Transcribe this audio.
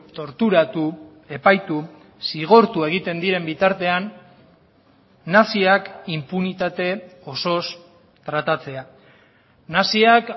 torturatu epaitu zigortu egiten diren bitartean naziak inpunitate osoz tratatzea naziak